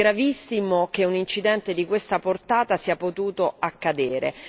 È gravissimo che un incidente di questa portata sia potuto accadere.